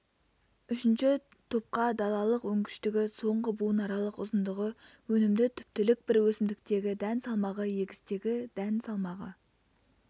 үшінші топқа далалық өнгіштігі соңғы буынаралық ұзындығы өнімді түптілік бір өсімдіктегі дән салмағы егістегі дән салмағы